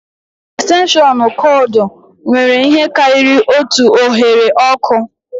Estenshịọnụ kọọdụ nwere ihe karịrị otu oghere ọkụ